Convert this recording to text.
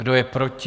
Kdo je proti?